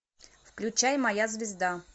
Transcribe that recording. включай моя звезда